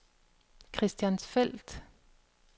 Christiansfeld